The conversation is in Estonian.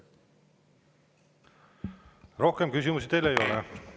Rohkem küsimusi teile ei ole.